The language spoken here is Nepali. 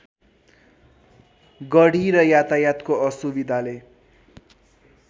गढी र यातायातको असुविधाले